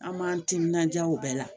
An m'an timinanja o bɛɛ la